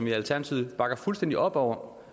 i alternativet bakker fuldstændig op om